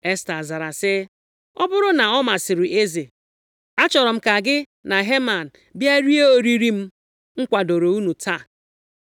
Esta zara sị, “Ọ bụrụ na ọ masịrị eze, achọrọ m ka gị na Heman bịa rie oriri m kwadooro unu taa.”